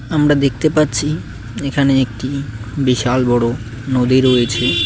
আমরা দেখতে পাচ্ছি এখানে একটি বিশাল বড় নদী রয়েছে।